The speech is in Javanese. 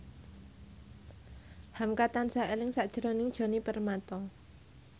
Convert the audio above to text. hamka tansah eling sakjroning Djoni Permato